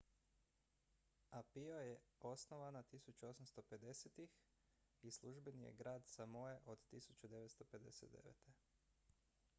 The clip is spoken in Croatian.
apia je osnovana 1850-ih i službeni je glavni grad samoe od 1959